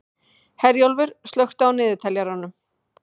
Herjólfur, slökktu á niðurteljaranum.